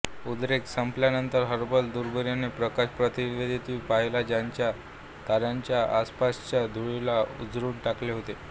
उद्रेक संपल्यानंतर हबल दुर्बिणीने प्रकाश प्रतिध्वनी पाहिला ज्याने ताऱ्याच्या आसपासच्या धुळीला उजळून टाकले होते